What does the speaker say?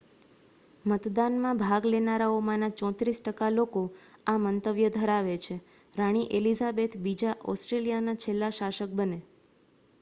મતદાનમાં ભાગ લેનારાઓમાંના 34 ટકા લોકો આ મંતવ્ય ધરાવે છે રાણી એલિઝાબેથ બીજા ઑસ્ટ્રેલિયાના છેલ્લા શાસક બને